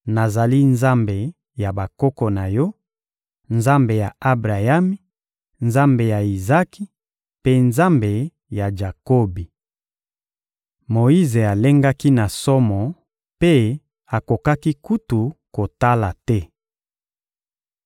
«Nazali Nzambe ya bakoko na yo, Nzambe ya Abrayami, Nzambe ya Izaki, mpe Nzambe ya Jakobi.» Moyize alengaki na somo mpe akokaki kutu kotala te.